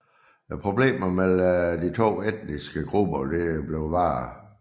Problemerne mellem de to etniske grupper blev værre